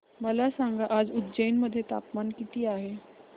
मला सांगा आज उज्जैन मध्ये तापमान किती आहे